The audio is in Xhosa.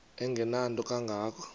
engenanto kanga ko